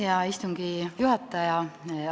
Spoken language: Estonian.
Hea istungi juhataja!